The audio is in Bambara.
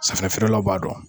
Safinɛ feeralaw b'a dɔn